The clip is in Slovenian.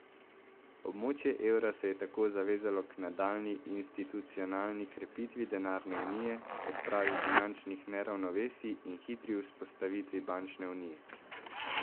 Območje evra se je tako zavezalo k nadaljnji institucionalni krepitvi denarne unije, odpravi finančnih neravnovesij in hitri vzpostavitvi bančne unije.